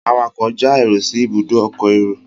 awakọ̀ já èrò sí Ibùdó ọkọ̀ èrò